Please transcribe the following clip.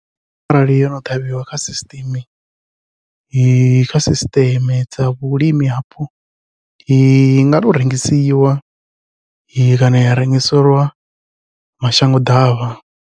Arali yo no ṱhavhiwa kha sisiṱeme kha sisiṱeme dza vhulimi vhapo inga to rengisiwa kana ya rengiselwa mashango ḓavha.